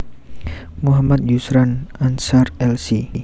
Muhammad Yusran Anshar Lc